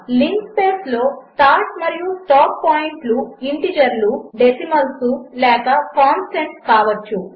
linspaceలోస్టార్ట్మరియుస్టాప్పాయింట్లుఇంటీజర్లు decimals లేకకాన్స్టంట్స్కావచ్చు